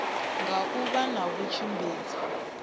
nga u vha na vhatshimbidzi